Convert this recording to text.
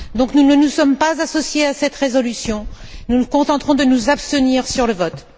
Nous ne nous sommes donc pas associés à cette résolution, nous nous contenterons de nous abstenir sur le vote.